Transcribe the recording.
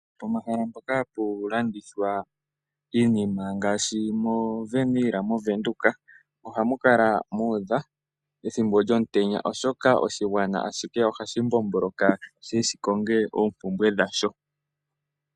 Pomahala mpoka hapu kandithwa iinima ngaashi moVenill moVenduka ohamu kala muudha ethimbo lyomutenya oshoka oshigwana ashihe ohadhi mbomboloka shiye shi koke oompumbwe dhawo.